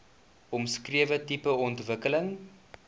omskrewe tipe ontwikkeling